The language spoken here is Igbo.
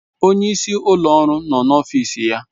Onye isi ụlọ ọrụ nọ n'ọfịs ya.